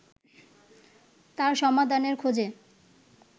তার সমাধানের খোঁজে